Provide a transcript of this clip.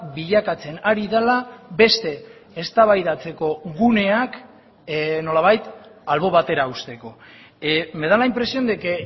bilakatzen ari dela beste eztabaidatzeko guneak nolabait albo batera uzteko me da la impresión de que